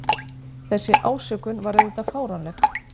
Þessi ásökun var auðvitað fáránleg